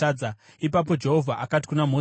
Ipapo Jehovha akati kuna Mozisi,